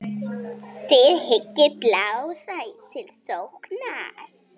Þið hyggist blása til sóknar?